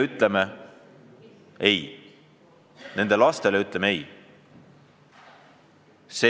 See ei ole õige tee.